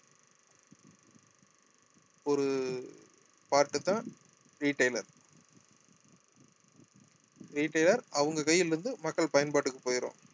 ஒரு part தான் retailer retailer அவங்க கையில இருந்து மக்கள் பயன்பாட்டுக்கு போயிடும்